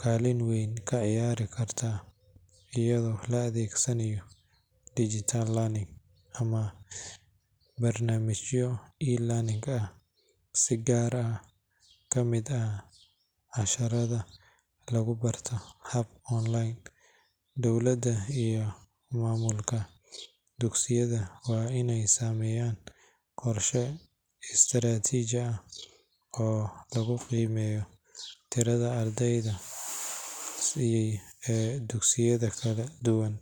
kaalin weyn ka ciyaari kartaa, iyadoo la adeegsanayo digital learning ama barnaamijyo e-learning ah si qaar ka mid ah casharrada loogu barto hab online. Dowladda iyo maamulka dugsiyada waa inay sameeyaan qorshe istiraatiiji ah oo lagu qiimeeyo tirada ardayda ee dugsiyada kala duwan.